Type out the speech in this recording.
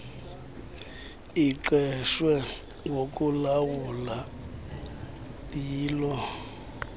liqeshwe ngokulawula yilo